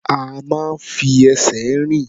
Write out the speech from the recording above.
A máa ń fi ẹsẹ̀ rìn.